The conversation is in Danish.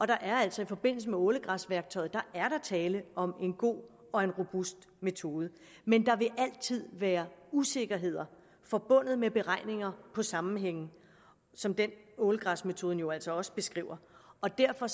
der er altså i forbindelse med ålegræsværktøjet tale om en god og en robust metode men der vil altid være usikkerheder forbundet med beregninger på sammenhænge som den ålegræsmetoden jo altså også beskriver og derfor